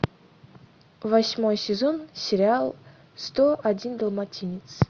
восьмой сезон сериал сто один далматинец